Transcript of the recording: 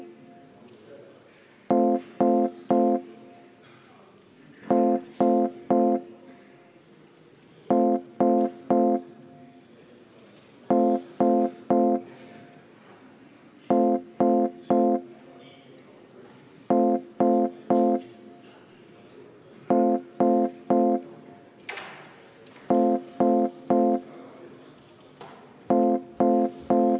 Austatud Riigikogu, juhtivkomisjon on teinud ettepaneku eelnõu 578 esimesel lugemisel tagasi lükata.